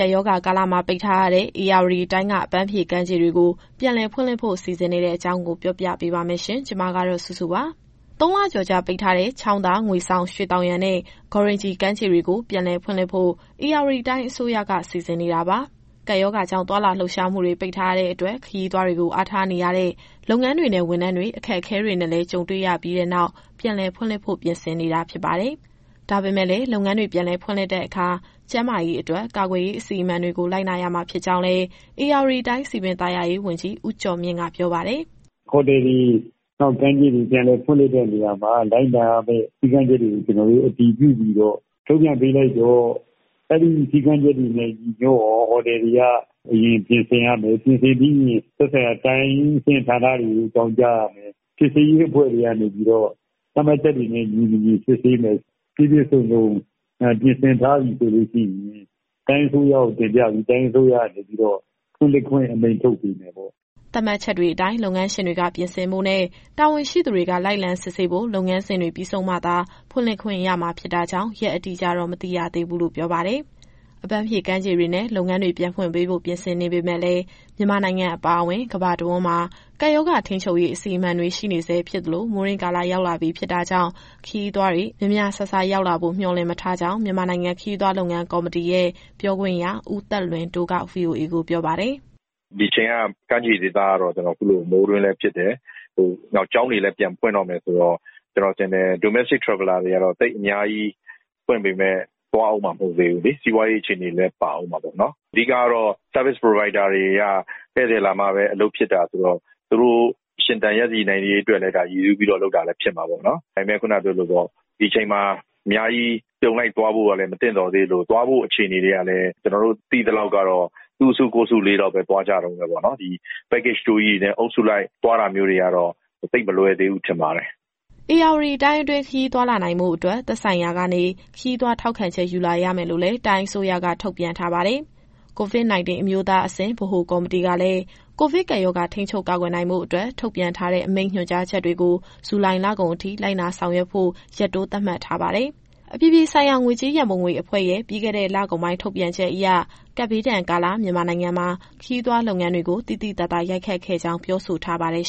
ကပ်ရောဂါကာလမှာ ပိတ်ထားရတဲ့ ဧရာဝတီတိုင်းက အပမ်းဖြေကမ်းခြေတွေကို ပြန်လည်ဖွင့်လှစ်ဖို့ စီစဉ်နေတဲ့အကြောင်း ဗွီအိုအေမြန်မာပိုင်း သတင်းထောက်စုစုက ပြောပြပေးပါမယ်။ ၃ လကျော်ကြာ ပိတ်ထားတဲ့ ချောင်းသာ၊ ငွေဆောင်၊ ရွှေသောင်ယံနဲ့ ဂေါ်ရင်ဂျီ ကမ်းခြေ ဒေသတွေကို ပြန်လည် ဖွင့်လှစ်ဖို့ ဧရာဝတီတိုင်း အစိုးရက စီစဉ်နေတာပါ။ ကပ်ရောဂါကြောင့် သွားလာလှုပ်ရှားမှုတွေ ပိတ်ထားရတဲ့အတွက် ခရီးသွားတွေကို အားထားနေတဲ့ လုပ်ငန်းတွေနဲ့ ဝန်ထမ်းတွေ အခက်အခဲတွေနဲ့လည်း ကြုံခဲ့ရပြီးနောက် ပြန်လည်ဖွင့်လှစ်ဖို့ ပြင်ဆင်နေတာ ဖြစ်ပါတယ်။ ဒါပေမဲ့လည်း လုပ်ငန်းတွေ ပြန်လည်ဖွင့်လှစ်တဲ့အခါ ကျန်းမာရေးအတွက် ကာကွယ်ရေး အစီအမံတွေကို လိုက်နာရမှာ ဖြစ်ကြောင်းလည်း ဧရာဝတီတိုင်း စည်ပင်သာယာရေးဝန်ကြီး ဦးကျော်မြင့်က ပြောပါတယ်။ “ဟိုတယ်တွေ၊ ကမ်းခြေတွေ ပြန်လည်ဖွင့်လှစ်တဲ့နေရာမှာ လိုက်နာရမယ့် စည်းကမ်းချက်တွေကို ကျနော်တို့အတည်ပြုပြီးထုတ်ပြန်ပေးလိုက်တော့ ဒါတွေနဲ့ညီညွတ်အောင် ဟိုတယ်တွေက အရင်ပြင်ဆင်ရမယ်။ ပြင်ဆင်ပြီးရင် သက်ဆိုင်ရာတိုင်းအဆင့် ဌာနတွေကို အကြောင်းကြားရမယ်။ စစ်ဆေးရေးအဖွဲ့တွေက သတ်မှတ်ချက်တွေနဲ့ညီ မညီစစ်ဆေးမယ်။ ပြည့်ပြည့်စုံစုံ ပြင်ဆင်ထားပြီ ဆိုလို့ရှိရင် တိုင်းအစိုးရကိုတင်ပြပြီး တိုင်းအစိုးရကနေပြီးတော့ ဖွင့်လှစ်ခွင့်အမိန့်ထုတ်ပေးမယ်ပေါ့။” သတ်မှတ်ချက်တွေအတိုင်း လုပ်ငန်းရှင်တွေက ပြင်ဆင်ဖို့နဲ့ တာဝန်ရှိသူတွေက လိုက်လံစစ်ဆေးဖို့ လုပ်ငန်းစဉ်တွေ ပြီးဆုံးမှသာ ဖွင့်လှစ်ခွင့်ရမှာ ဖြစ်တာကြောင့် ရက်အတိအကျတော့ မသိရသေးဘူးလို့လည်း ပြောပါတယ်။ အပမ်းဖြေ ကမ်းခြေတွေနဲ့ လုပ်ငန်းတွေ ပြန်ဖွင့်ပေးဖို့ ပြင်ဆင်နေပေမဲ့လည်း မြန်မာနိုင်ငံ အပါအဝင် ကမ္ဘာတဝန်းမှာ ကပ်ရောဂါထိန်းချုပ်ရေး အစီအမံတွေ ရှိနေဆဲ ဖြစ်သလို၊ မိုးတွင်းကာလ ရောက်လပြီ ဖြစ်တာကြောင့် ခရီးသွားတွေ များများစားစား ရောက်လာဖို့ မျှော်လင့်မထားကြောင်း မြန်မာနိုင်ငံခရီးသွား လုပ်ငန်းကော်မတီရဲ့ ပြောခွင့်ရ ဦးသက်လွင်တိုးက VOA ကိုပြောပါတယ်။ “ဒီအချိန်က ကမ်းခြေဒေသကတော့ မိုးတွင်းလည်းဖြစ်တယ်။ ကျောင်းတွေလည်း ပြန်ဖွင့်တော့မယ် ဆိုတော့ Domestic Traveler တွေကတော့ သိပ်အများကြီးသွားဦးမှာမဟုတ်ဘူးလေ။ စီးပွားရေးအခြေအနေလည်း ပါဦးမှာပေါ့နော်။ အဓိကတော့ Service Provider တွေက ဧည့်သည်လာမှပဲ အလုပ်ဖြစ်တာဆိုတော့ သူတို့ရှင်သန်ရပ်တည်နိုင်ရေးအတွက်လည်း ဒါရည်စူးပြီး လုပ်တာလည်း ဖြစ်မှာပေါ့နော်။ ဒါပေမယ့် ခုနကပြောသလို ဒီအချိန်မှာ အများကြီး အပြုံလိုက် သွားဖို့ကလည်း မသင့်တော်သေးသလို၊ သွားဖို့အခြေအနေတွေ ကလည်း ကျနော်တို့ သိသလောက်ကတော့ သူ့အစုကိုယ့်အစုလေးလောက်ပဲ သွားကြတုန်းပဲပေါ့နော်။ ဒီ Package Tour ကြီးတွေနဲ့အုပ်စုလိုက် သွားတာမျိုးတွေကတော့ သိပ်မလွယ်သေးဘူးထင်ပါတယ်။” ဧရာဝတီတိုင်းအတွင်း ခရီးသွားလာနိုင်ဖို့အတွက် သက်ဆိုင်ရာကနေ ခရီးသွားထောက်ခံချက် ယူလာရမယ်လို့လည်း တိုင်းအစိုးရက ထုတ်ပြန်ထားပါတယ်။ COVID- 19 အမျိုးသားအဆင့် ဗဟိုကော်မတီကလည်း ကိုဗစ်ကပ်ရောဂါ ထိန်းချုပ်ကာကွယ်နိုင်ဖို့အတွက် ထုတ်ပြန်ထားတဲ့အမိန့် ညွှန်ကြားချက်တွေကို ဇူလိုင်လကုန်အထိ လိုက်နာဆောင်ရွက်ဖို့ ရက်တိုးသတ်မှတ်ထားပါတယ်။ အပြည်ပြည်ဆိုင်ရာ ငွေကြေးရန်ပုံငွေအဖွဲ့ (IMF) ရဲ့ ပြီးခဲ့တဲ့လကုန်ပိုင်း ထုတ်ပြန်ချက်အရ ကပ်ဘေးဒဏ်ကာလ မြန်မာနိုင်ငံမှာ ခရီးသွားလုပ်ငန်းတွေကို သိသိသာသာ ရိုက်ခတ်ခဲ့ကြောင်း ပြောဆိုထားပါတယ်